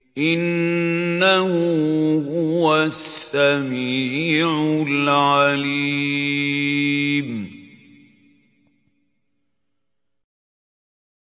إِنَّهُ هُوَ السَّمِيعُ الْعَلِيمُ